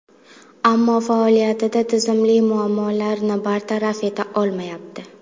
Ammo faoliyatida tizimli muammolarni bartaraf eta olmayapti.